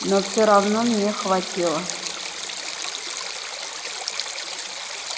но все равно мне хватило